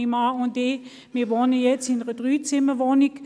Mein Mann und ich wohnen jetzt in einer Dreizimmerwohnung.